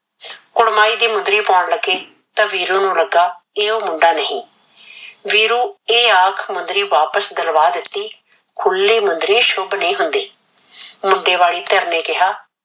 ਕੁੜਮਾਈ ਦੀ ਮੁੰਦਰੀ ਪਾਉਣ ਲਗੇ ਤਾ ਵੀਰੂ ਨੂੰ ਲਗਾ ਇਹ ਉਹ ਮੁੰਡਾ ਨਹੀਂ ਵੀਰੂ। ਵੀਰੂ ਇਹ ਆਖ ਮੁੰਦਰੀ ਵਾਪਿਸ ਕਰਵਾ ਦਿਤੀ ਖੁਲੀ ਮੁੰਦਰੀ ਸ਼ੁਬ ਨਹੀਂ ਹੁੰਦੀ। ਮੁੰਡੇ ਵਾਲੇ ਧਿਰ ਨੇ ਕਿਹਾ